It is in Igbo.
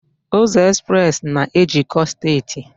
Ụzọ Express na ejikọọ steeti